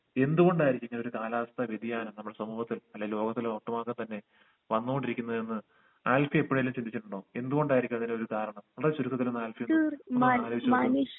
എന്തുകൊണ്ടായിരിക്കും ഇങ്ങനെയൊരു കാലാവസ്ഥ വേദിയാനം നമ്മൾ സമൂഹത്തിൽ അല്ല ലോകത്തുള്ള ഒട്ടുമാക തന്നെ വന്നോണ്ടിരിക്കുന്നത് എന്ന് ആൽഫി എപ്പോഴെലും ചിന്തിച്ചിട്ടുണ്ടോ എന്ത് കൊണ്ടായിരിക്കും അങ്ങനൊരു കാരണം വളരെ ചുരുക്കത്തിൽ ഒന്ന് ആൽഫി ഒന്ന് അലോയിചോക്ക്യേ